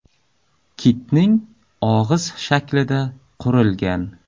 Kitning og‘iz shaklida qurilgan.